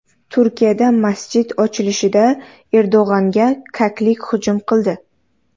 Turkiyada masjid ochilishida Erdo‘g‘onga kaklik hujum qildi .